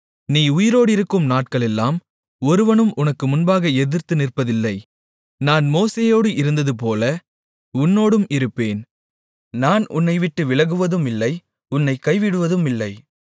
நீ உயிரோடிருக்கும் நாட்களெல்லாம் ஒருவனும் உனக்கு முன்பாக எதிர்த்து நிற்பதில்லை நான் மோசேயோடு இருந்ததுபோல உன்னோடும் இருப்பேன் நான் உன்னைவிட்டு விலகுவதுமில்லை உன்னைக் கைவிடுவதுமில்லை